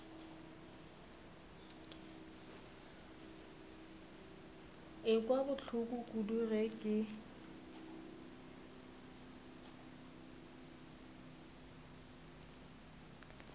ekwa bohloko kudu ge ke